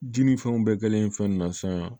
Ji ni fɛnw bɛɛ kɛlen fɛn na sisan